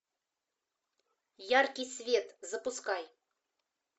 яркий свет запускай